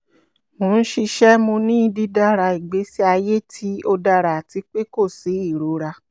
mo n ṣiṣẹ mo ni didara igbesi aye ti o dara ati pe ko si irora